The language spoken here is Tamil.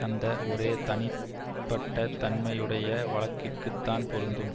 அந்த ஒரே தனிப்பட்ட தன்மையுடைய வழக்கிற்குத்தான் பொருந்தும்